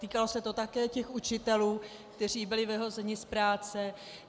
Týkalo se to také těch učitelů, kteří byli vyhozeni z práce.